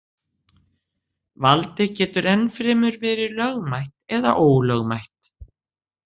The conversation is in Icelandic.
Valdið getur enn fremur verið lögmætt eða ólögmætt.